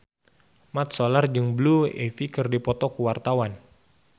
Mat Solar jeung Blue Ivy keur dipoto ku wartawan